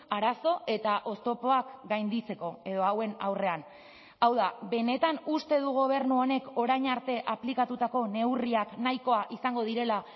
arazo eta oztopoak gainditzeko edo hauen aurrean hau da benetan uste du gobernu honek orain arte aplikatutako neurriak nahikoa izango direla